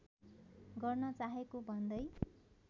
गर्न चाहेको भन्दै